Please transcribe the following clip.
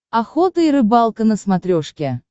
охота и рыбалка на смотрешке